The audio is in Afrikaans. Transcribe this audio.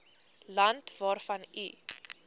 land waarvan u